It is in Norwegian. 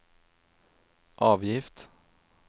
avgift